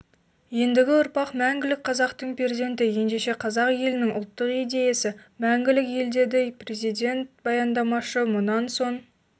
ендігі ұрпақ мәңгілік қазақтың перзенті ендеше қазақ елінің ұлттық идеясы мәңгілік ел деді президент баяндамашы мұнан соң